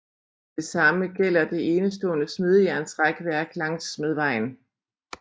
Det samme gælder det enestående smedejernsrækværk langsmed vejen